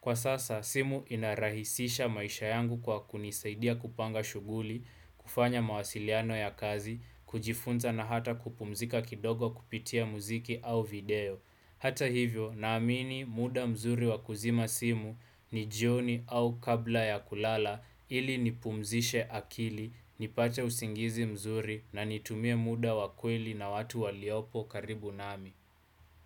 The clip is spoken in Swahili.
Kwa sasa simu inarahisisha maisha yangu kwa kunisaidia kupanga shughuli, kufanya mawasiliano ya kazi, kujifunza na hata kupumzika kidogo kupitia muziki au video. Hata hivyo naamini muda mzuri wa kuzima simu ni jioni au kabla ya kulala ili nipumzishe akili nipate usingizi mzuri na nitumie muda wa kweli na watu waliopo karibu nami.